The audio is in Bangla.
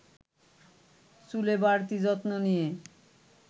চুলে বাড়তি যত্ন নিয়ে